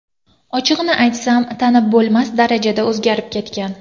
Ochig‘ini aytsam, tanib bo‘lmas darajada o‘zgarib ketgan.